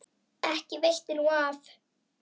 Ekki veitti nú af.